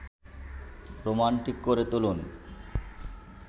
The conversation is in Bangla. রোমান্টিক করে তুলুন